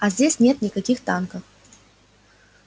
а здесь нет никаких танков